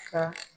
Ka